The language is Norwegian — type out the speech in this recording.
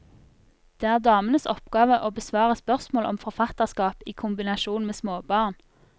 Det er damenes oppgave å besvare spørsmål om forfatterskap i kombinasjon med småbarn.